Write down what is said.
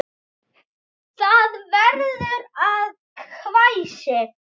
Það verður að hvæsi.